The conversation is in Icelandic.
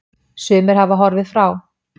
Sumir hafa horfið frá.